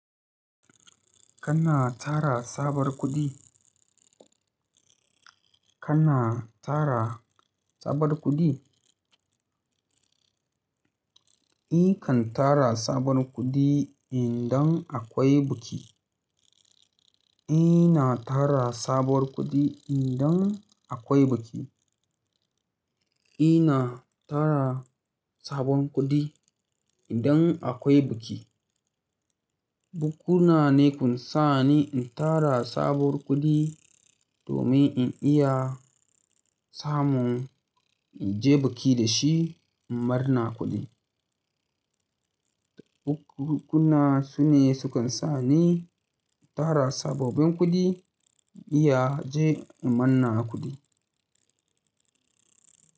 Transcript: Kana tara sabar kuɗi? Kana tara sabuwar kuɗi? Nikan tara sabon kuɗi idan akwai buki. Ina tara sabuwar kuɗi idan akwai buki. Ina tara sabon kuɗi idan akwai buki. Bukuna ne sukan sa ni in tara sabuwar kuɗi domin in iya samun in je buki da shi in marna kuɗi. Bukunkuna su ne sukan sa ni in tara sababbin kuɗi in iya je in marna kuɗi.